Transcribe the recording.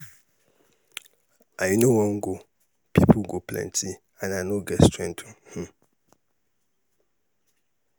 i no wan go people go plenty and i no get strength um.